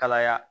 Kalaya